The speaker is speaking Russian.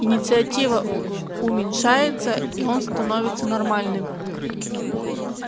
инициатива уменьшается и он становится нормальным